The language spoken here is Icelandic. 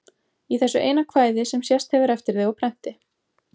Í þessu eina kvæði, sem sést hefur eftir þig á prenti.